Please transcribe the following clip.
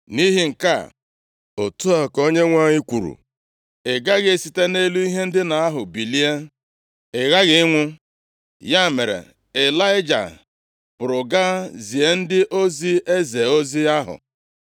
Nʼihi nke a, otu a ka Onyenwe anyị kwuru, ‘Ị gaghị esite nʼelu ihe ndina ahụ bilie. Ị ghaghị ịnwụ!’ ” Ya mere Ịlaịja pụrụ gaa zie ndị ozi eze ozi ahụ.